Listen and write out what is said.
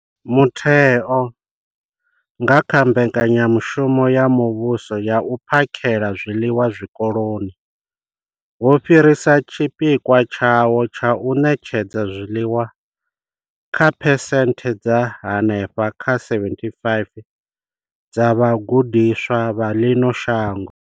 Mutheo nga kha Mbekanya mushumo ya Muvhuso ya U phakhela zwiḽiwa Zwikoloni wo fhirisa tshipikwa tshawo tsha u ṋetshedza zwiḽiwa kha phesenthe dza henefha kha 75 dza vhagudiswa vha ḽino shango.